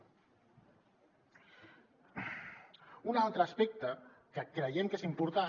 un altre aspecte que creiem que és important